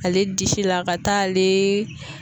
Ale disi la ka taa ale